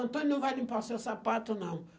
Antônio não vai limpar seu sapato, não.